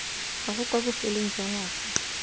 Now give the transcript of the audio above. gago kwa bofelong jwa ngwaga